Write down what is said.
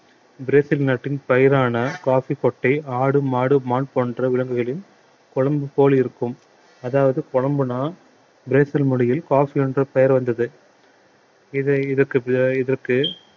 Brazil நாட்டின் பயிரான coffee கொட்டை ஆடு மாடு மான் போன்ற விலங்குகளின் கொழும்பி போல் இருக்கும் அதாவது கொழும்பின்னா பிரேசில் மொழியில் coffee என்ற பெயர் வந்தது இதை இதற்கு இதற்கு